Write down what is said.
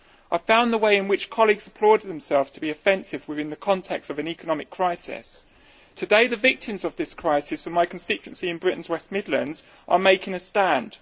I found the way in which colleagues applauded themselves to be offensive within the context of an economic crisis. Today, the victims of this crisis from my constituency in Britain's West Midlands are making a stand.